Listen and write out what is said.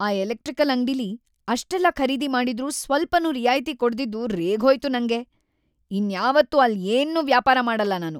ಆ ಎಲೆಕ್ಟ್ರಿಕಲ್‌ ಅಂಗ್ಡಿಲಿ ಅಷ್ಟೆಲ್ಲ ಖರೀದಿ ಮಾಡಿದ್ರೂ ಸ್ವಲ್ಪನೂ ರಿಯಾಯ್ತಿ ಕೊಡ್ದಿದ್ದು ರೇಗ್ಹೋಯ್ತು ನಂಗೆ, ಇನ್ಯಾವತ್ತೂ ಅಲ್ಲ್‌ ಏನ್ನೂ ವ್ಯಾಪಾರ ಮಾಡಲ್ಲ ನಾನು.